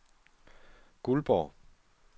Guldborg